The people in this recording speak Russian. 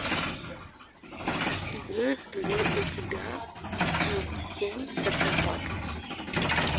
есть ли у тебя семь социопатов